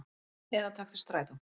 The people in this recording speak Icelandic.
Eða taktu strætó.